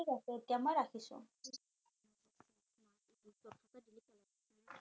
ঠিক আছে এতিয়া মই ৰাখিছো